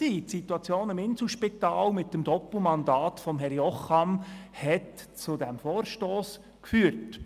Die Situation im Inselspital mit dem Doppelmandat von Uwe Jocham hat zu diesem Vorstoss geführt.